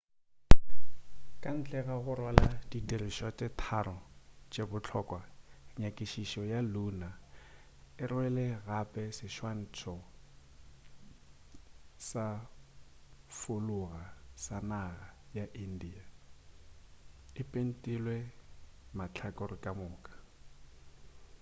ka ntle ga go rwala di dirišwa tše tharo tše bohlokwa nyakišišo ya lunar e rwele gape seswantšho sa folaga ya naga ya india e pentilwe mahlakore ka moka